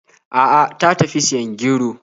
A'a, ta tafi siyan gero.